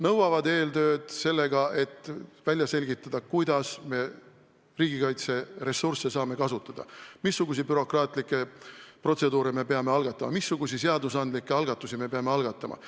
Nõuavad eeltööd selleks, et välja selgitada, kuidas me riigikaitseressursse saame kasutada, missuguseid bürokraatlikke protseduure me peame algatama, missuguseid seadusandlikke algatusi me peame käivitama.